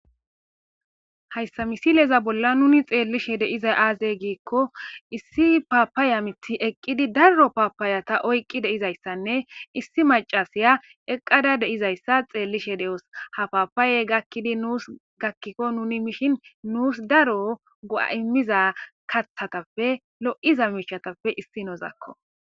Hayssa misileza bolla nuuni xeellishe de7iza aaze giikko issi paappaya mithi eqqidi darro paappayata oyqqi de7izayssanne issi macasiya eqqada de7izayssa xeellishe de7os. Ha paapaaye gakkidi nuus gakkikko nuni mishin nuus daro go7a immiza kathatappe lo7iza miishatappe issinozakko.